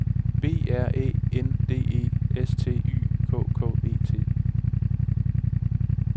B R Æ N D E S T Y K K E T